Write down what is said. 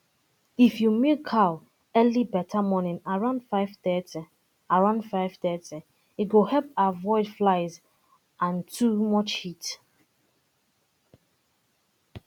if you milk cow early um morning around 530 around 530 e go help avoid flies and too um much heat